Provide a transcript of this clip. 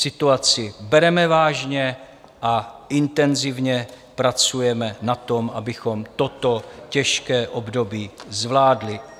Situaci bereme vážně a intenzivně pracujeme na tom, abychom toto těžké období zvládli.